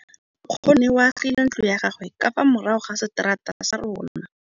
Nkgonne o agile ntlo ya gagwe ka fa morago ga seterata sa rona.